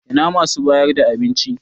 Ina masu bayar da abinci?